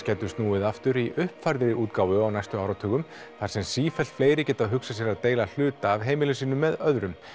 gætu snúið aftur í uppfærðri útgáfu á næstu áratugum þar sem sífellt fleiri geta hugsað sér að deila hluta af heimilum sínum með öðrum